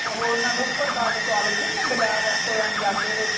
ਉਹ ਓਹਨਾ ਨੂੰ ਉੱਪਰ ਪਾ ਕੇ ਸਵਾਦ ਲੱਗਦੀ ਨੀ ਬਜ਼ਾਰ ਰੈਸਟੋਰੇਂਟ ਜਾਂਦੇ ਤੇ ਓਥੇ।